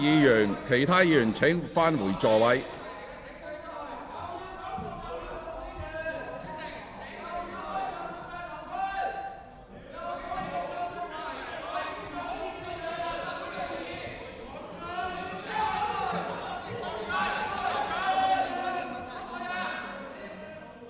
請其他議員返回座位。